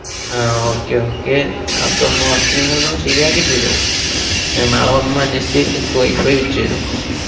ആ okay okay അതൊന്ന് first നിങ്ങളിതൊന്ന് ശെരിയാക്കിത്തരൂ. ഉം ഞാന്‍ നാളെ വന്നന്വേഷിച്ചു എന്‍ക്ക് wifi വെച്ച് തര്വോ?